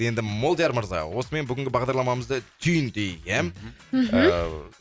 енді молдияр мырза осымен бүгінгі бағдарламамызды түйіндейік ия мхм ыыы